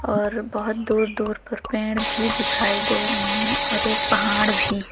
और बहोत दूर दूर पर पेड़ भी दिखाई दे रहे हैं और एक पहाड़ भी।